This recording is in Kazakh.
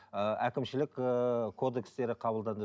ыыы әкімшілік ыыы кодекстері қабылданды